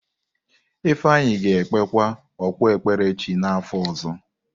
Ifeanyi ga-ekpekwa okpukpere chi n’afọ ọzọ.